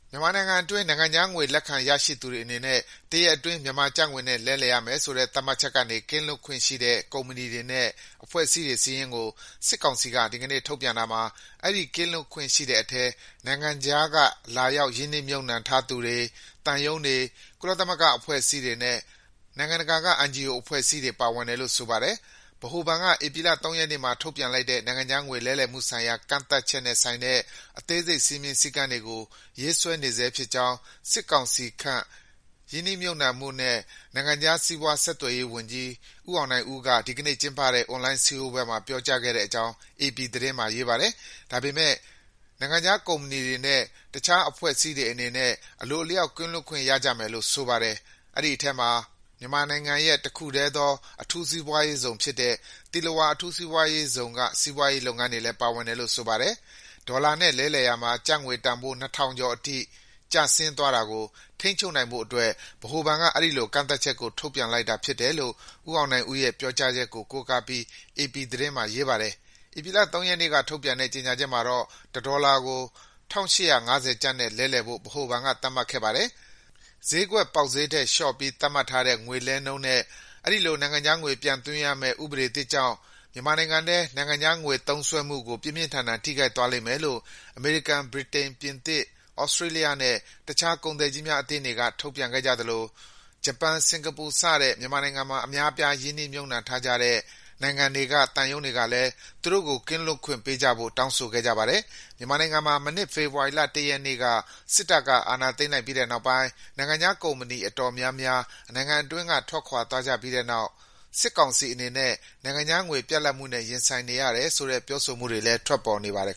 မြန်မာနိုင်ငံအတွင်း နိုင်ငံခြားငွေ လက်ခံရရှိသူတွေအနေနဲ့ တရက်အတွင်း မြန်မာကျပ်ငွေနဲ့လဲရမယ်ဆိုတဲ့ သတ်မှတ်ချက်ကနေ ကင်းလွတ်ခွင့်ရှိတဲ့ ကုမ္ပဏီတွေနဲ့ အဖွဲ့အစည်းတွေစာရင်းကို စစ်ကောင်စီက ဒီကနေ့ ထုတ်ပြန်လိုက်တာမှာ အဲဒီ ကင်းလွတ်ခွင့်ရှိတဲ့အထဲ နိုင်ငံခြားက လာရောက်ရင်းနှီးမြှုပ်နှံထားသူတွေ၊ သံရုံးတွေ၊ ကုလသမဂ္ဂအဖွဲ့အစည်းတွေနဲ့ NGO အဖွဲ့အစည်းတွေ ပါဝင်တယ်လို့ ဆိုပါတယ်။ ဗဟိုဘဏ်က ဧပြီလ ၃ ရက်နေ့မှာ ထုတ်ပြန်လိုက်တဲ့ နိုင်ငံခြားငွေလဲလှယ်မှုဆိုင်ရာ ကန့်သတ်ချက်နဲ့ဆိုင်တဲ့ အသေးစိတ် စည်းမျဉ်းစည်းကမ်းတွေကို ရေးဆွဲနေဆဲဖြစ်ကြောင်း စစ်ကောင်စီခန့် ရင်းနှီးမြှုပ်နှံမှုနဲ့ နိုင်ငံခြားစီးပွားဆက်သွယ်ရေးဝန်ကြီး ဦးအောင်နိုင်ဦးက ဒီကနေ့ကျင်းပတဲ့ အွန်လိုင်းစည်းဝေးပွဲမှာ ပြောကြားခဲ့ကြောင်း အေပီသတင်းမှာ ရေးပါတယ်။ ဒါပေမယ့် နိုင်ငံခြားကုမ္ပဏီတွေနဲ့ တခြားအဖွဲ့အစည်းတွေအနေနဲ့ အလိုအလျောက် ကင်းလွတ်ခွင့်ရကြမယ်လို့ ဆိုပါတယ်။ အဲဒီအထဲမှာ မြန်မာနိုင်ငံရဲ့ တခုတည်းသော အထူးစီးပွားရေးဇုံဖြစ်တဲ့ သီလဝါ အထူးစီးပွားရေးဇုံက စီးပွားရေးလုပ်ငန်းတွေလည်း ပါဝင်တယ်လို့ ဆိုပါတယ်။ ဒေါ်လာနဲ့လဲလှယ်ရာမှာ ကျပ်ငွေတန်ဖိုး ၂,၀၀၀ ကျော်အထိ ကျဆင်းသွားတာကို ထိန်းချုပ်နိုင်ဖို့အတွက် ဗဟိုဘဏ်က အဲဒီ ကန့်သတ်ချက်ကို ထုတ်ပြန်လိုက်တာဖြစ်တယ်လို့ ဦးအောင်နိုင်ဦးရဲ့ ပြောကြားချက်ကိုကိုးကားပြီး အေပီသတင်းမှာ ရေးပါတယ်။ ဧပြီလ ၃ ရက်နေ့ကထုတ်ပြန်တဲ့ ကြေငြာချက်မှာတော့ တဒေါ်လာကို ၁,၈၅၀ ကျပ်နဲ့ လဲလှယ်ဖို့ ဗဟိုဘဏ်က သတ်မှတ်ခဲ့ပါတယ်။ ဈေးကွက်ပေါက်ဈေးထက် လျှော့ပြီးသတ်မှတ်ထားတဲ့ ငွေလဲနှုန်းနဲ့ အဲဒီလို နိုင်ငံခြားငွေ ပြန်သွင်းရမယ့ ်ဥပဒေသစ်ကြောင့် မြန်မာနိုင်ငံထဲ နိုင်ငံခြားငွေသုံးစွဲမူကို ပြင်းပြင်းထန်ထန် ထိခိုက်သွားလိမ့်မယ်လို့ အမေရိကန်၊ ဗြိတိန်၊ ပြင်သစ်၊ သြစတြေးလျနဲ့ တခြားကုန်သည်ကြီးများအသင်းတွေက ထုတ်ပြန်ခဲ့ကြသလို ဂျပန်၊ စင်္ကာပူ စတဲ့ မြန်မာနိုင်ငံမှာ အများအပြား ရင်းနှီးမြှုပ်နှံထား ကြတဲ့ နိုင်ငံတွေက သံရုံးတွေကလည်း သူတို့ကို ကင်းလွတ်ခွင့်ပေးကြဖို့ တောင်းဆိုခဲ့ကြပါတယ်။ မြန်မာနိုင်ငံမှာ မနှစ် ဖေဖော်ဝါရီလ ၁ ရက်နေ့က စစ်တပ်က အာဏာသိမ်းလိုက်ပြီးတဲ့နောက်ပိုင်း ပြည်ပကုမ္ပဏီ အတော်များများ နိုင်ငံတွင်းက ထွက်ခွာသွားကြပြီးတဲ့နောက် စစ်ကောင်စီအနေနဲ့ နိုင်ငံခြားငွေပြတ်လပ်မှုနဲ့ ရင်ဆိုင်နေရတယ်ဆိုတဲ့ ပြောဆိုမှုတွေ လည်း ထွက်ပေါ်နေပါတယ်